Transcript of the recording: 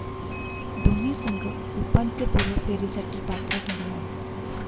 दोन्ही संघ उपांत्यपूर्व फेरीसाठी पात्र ठरले आहेत.